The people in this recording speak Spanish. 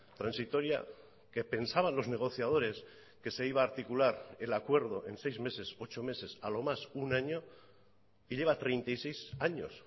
transitoria que pensaban los negociadores que se iba a articular el acuerdo en seis meses ocho meses a lo más un año y lleva treinta y seis años